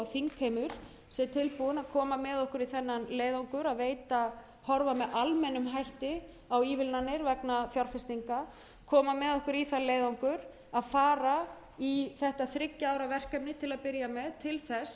þingheimur sé tilbúinn að koma með okkur í þennan leiðangur að horfa með almennum hætti á ívilnanir vegna fjárfestinga koma með okkur í þann leiðangur að fara í þetta þriggja ára verkefni til að byrja með til að freista þess að